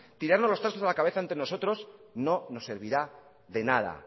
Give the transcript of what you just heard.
tirarnos los trastos a la cabeza entre nosotros no nos servirá de nada